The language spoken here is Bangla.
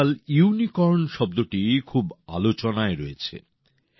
আজকাল ইউনিকর্ন শব্দটি খুব আলোচনায় রয়েছে